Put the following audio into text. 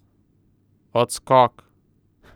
Odskok!